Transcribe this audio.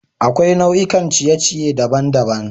Akwai nau'ikan ciye-ciye daban-daban.